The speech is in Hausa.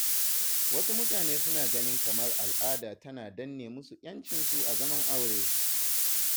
Wasu mutanen suna ganin kamar al'ada tana danne musu ƴancinsu a zaman aure.